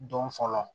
Don fɔlɔ